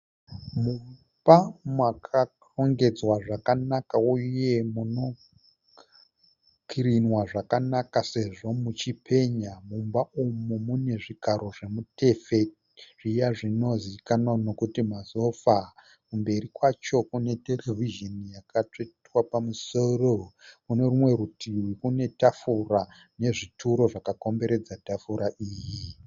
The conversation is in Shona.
Mumba makarongedzwa zvakanaka uye munokirinwa zvakanaka sezvo muchipenya . Mumba umu mune zvigaro zvemutefe zviya zvinozikanwa nekuti masofa. kumberi kwacho kune Terevhizhoni yakatsvetwa pamusoro . kune rumwe rutivi kunetafura nezvituro zvakakomberedza tafura iyi .